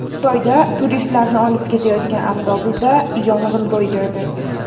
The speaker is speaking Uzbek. Xitoyda turistlarni olib ketayotgan avtobusda yong‘in ro‘y berdi.